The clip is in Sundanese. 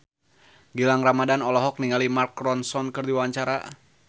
Gilang Ramadan olohok ningali Mark Ronson keur diwawancara